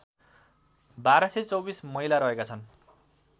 १२२४ महिला रहेका छन्